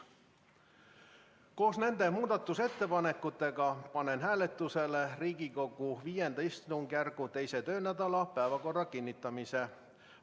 Koos nende muudatusettepanekutega panen hääletusele Riigikogu V istungjärgu teise töönädala päevakorra kinnitamise.